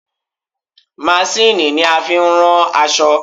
Masíìnnì ni a fi ń rán aṣọ.